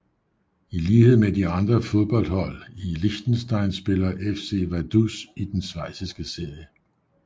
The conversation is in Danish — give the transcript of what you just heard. I lighed med de andre fodboldhold i Liechtenstein spiller FC Vaduz i den schweiziske serie